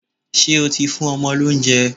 Ṣé o ti fún ọmọ lóúnjẹ?